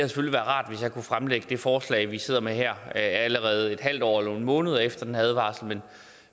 forslag vi sidder med her allerede et halvt år eller nogle måneder efter den her advarsel